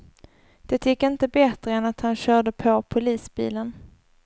Det gick inte bättre än att han körde på polisbilen.